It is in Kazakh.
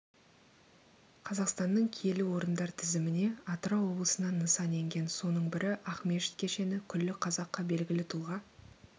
қазақстанның киелі орындар тізіміне атырау облысынан нысан енген соның бірі ақмешіт кешені күллі қазаққа белгілі тұлға